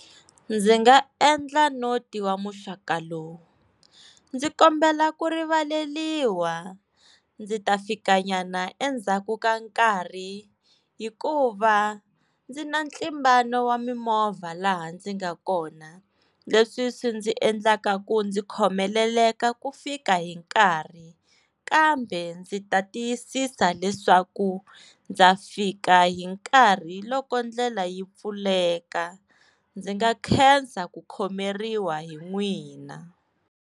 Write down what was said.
Ndzi nga endla no tiva muxaka lowu ndzi kombela ku rivaleliwa ndzi ta fika nyana endzhaku ka nkarhi hikuva ndzi na ntlimbano wa mimovha laha ndzi nga kona leswi swi ndzi endlaka ku ndzi khomeleleka ku fika hi nkarhi kambe ndzi ta tiyisisa leswaku ndza fika hi nkarhi loko ndlela yi pfuleka ndzi nga khensa ku khomeriwa hi n'wina.